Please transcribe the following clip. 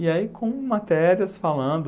E aí, com matérias falando...